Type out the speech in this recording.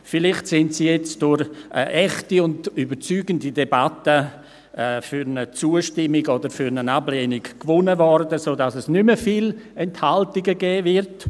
Vielleicht können dieser durch eine echte und überzeugende Debatte für eine Zustimmung oder Ablehnung gewonnen werden, sodass es nicht mehr viele Enthaltungen geben wird.